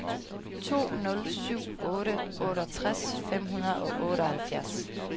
to nul syv otte otteogtres fem hundrede og otteoghalvfjerds